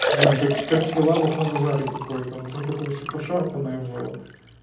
знаю как как прилавок на базаре какое-то вот он такое все пошарпаное было